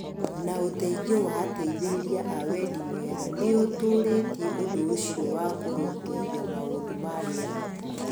na ũteithio wa ateithĩrĩria a wendi mwega , nĩ ũtũũrĩtie ũndũ ũcio wa kũrũmbũiya maũndũ ma rĩera.